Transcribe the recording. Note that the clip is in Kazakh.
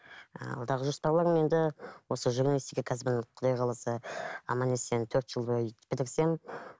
ы алдағы жоспарларым енді осы журналистика кәсібін құдай қаласа аман есен төрт жыл бойы бітірсем